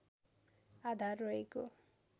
आधार रहेको